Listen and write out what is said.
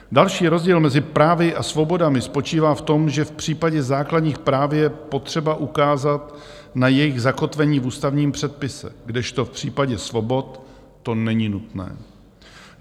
Další rozdíl mezi právy a svobodami spočívá v tom, že v případě základních práv je potřeba ukázat na jejich zakotvení v ústavním předpise, kdežto v případě svobod to není nutné.